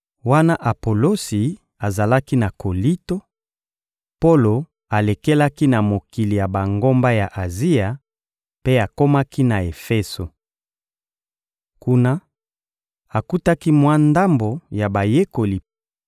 Wana Apolosi azalaki na Kolinto, Polo alekelaki na mokili ya bangomba ya Azia, mpe akomaki na Efeso. Kuna, akutaki mwa ndambo ya bayekoli